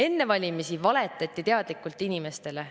Enne valimisi valetati teadlikult inimestele.